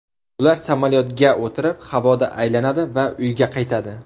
Ular samolyotga o‘tirib havoda aylanadi va uyga qaytadi.